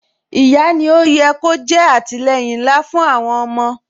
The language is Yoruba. Ìyá ni ó yẹ kó jẹ́ àtìleyìn ńlá fún àwọn ọmọ